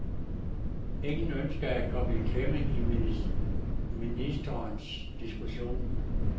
Ingen ønskede at komme i klemme i ministrenes diskussion.